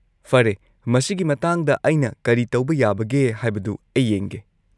ꯐꯔꯦ, ꯃꯁꯤꯒꯤ ꯃꯇꯥꯡꯗ ꯑꯩꯅ ꯀꯔꯤ ꯇꯧꯕ ꯌꯥꯕꯒꯦ ꯍꯥꯏꯕꯗꯨ ꯑꯩ ꯌꯦꯡꯒꯦ꯫